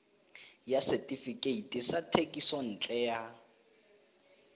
ya setefikeiti sa thekisontle ya